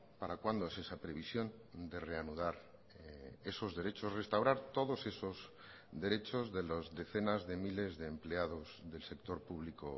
para cuándo es esa previsión de reanudar esos derechos restaurar todos esos derechos de las decenas de miles de empleados del sector público